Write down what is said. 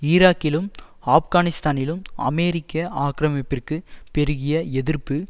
ஈராக்கிலும் ஆப்கானிஸ்தானிலும் அமெரிக்க ஆக்கிரமிப்பிற்கு பெருகிய எதிர்ப்பு